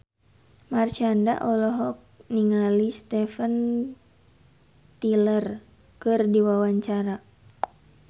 Marshanda olohok ningali Steven Tyler keur diwawancara